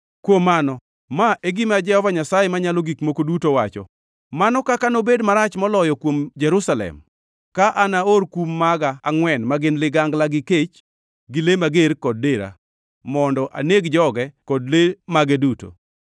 “Kuom mano ma e gima Jehova Nyasaye Manyalo Gik Moko Duto wacho: Mano kaka nobed marach moloyo kuom Jerusalem ka anaor kum maga angʼwen ma gin ligangla gi kech, gi le mager kod dera, mondo aneg joge kod le mage duto!